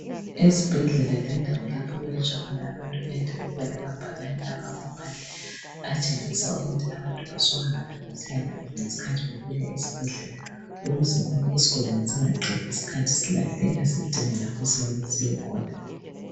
Ezibhedlela lendawo lapho okwelatsha abantu kuyadinga ukuba lamabhakane afakwa phandle atshengisa ukuthi abantu basuka ngaphi besiyangaphi, ngesikhathi befika esibhedlela ukuze isigulane singaqedi isikhathi silahleka sidinga lapho okumele siyekhona.